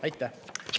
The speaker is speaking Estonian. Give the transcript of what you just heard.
Aitäh!